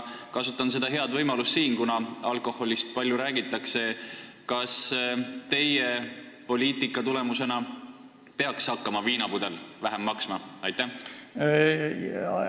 Kasutan nüüd head võimalust ja küsin, kuna alkoholist palju räägitakse: kas teie poliitika tulemusena peaks viinapudel vähem maksma hakkama?